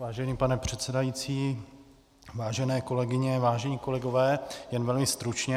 Vážený pane předsedající, vážené kolegyně, vážení kolegové, jen velmi stručně.